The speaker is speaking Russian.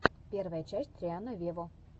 первая часть рианна вево